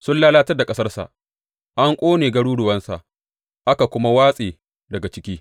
Sun lalatar da ƙasarsa; an ƙone garuruwansa aka kuma watse daga ciki.